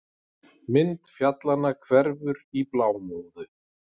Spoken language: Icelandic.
Mynd fjallanna hverfur í blámóðu.